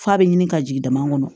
F'a bɛ ɲini ka jigin dama kɔnɔ